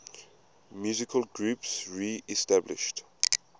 musical groups reestablished